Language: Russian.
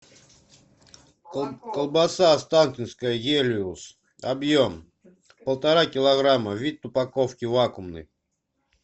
колбаса останкинская гелиос объем полтора килограмма вид упаковки вакуумный